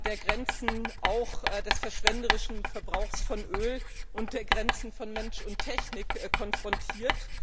der Grenzen auch des verschwenderischen Gebrauchs von Öl und der Grenzen von Mensch und Technik konfrontiert.